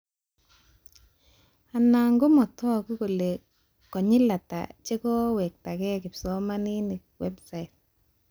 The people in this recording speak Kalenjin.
Anan komatagu kole konyil ata chekowetakee kipsomanink website